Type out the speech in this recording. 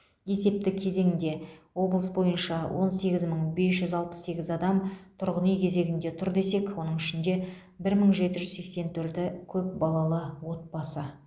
есепті кезеңде облыс бойынша он сегіз мың бес жүз алпыс сегіз адам тұрғын үй кезегінде тұр десек оның ішінде бір мың жеті жүз сексен төрті көпбалалы отбасы